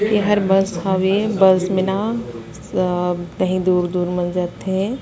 एहर बस हवे बस में न अ कहीं दूर- दूर मन जाथे --